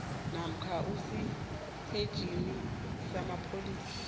namkha esitetjhini samapholisa